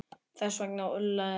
Þess vegna ullaði ég.